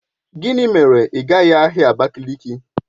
Gịnị mere ị gaghị ahịa Abakiliki?